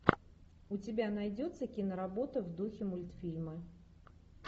у тебя найдется киноработа в духе мультфильма